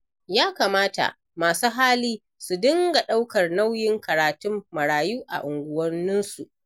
Ya kamata masu hali su dinga ɗaukar nauyin karatun marayu a unguwanninsu.